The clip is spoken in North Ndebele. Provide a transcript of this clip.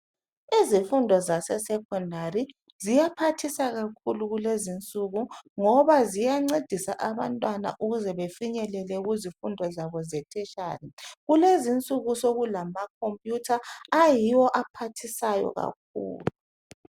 Izifundo zase"Secondary"ziyaphathisa kakhulu kulezinsuku ngoba ziyancedisa abantwana ukuze befinyelele kuzifundo zabo ze"tertiary"kulezinsuku sokulama"computer " ayiwo aphathisayo kakhulu.